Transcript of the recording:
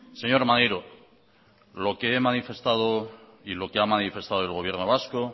señor maneiro lo que he manifestado y lo que ha manifestado el gobierno vasco